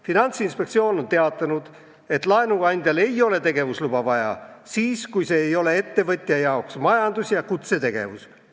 Finantsinspektsioon on teatanud, et laenuandjal ei ole tegevusluba vaja siis, kui see ei ole ettevõtte jaoks majandus- ja kutsetegevus.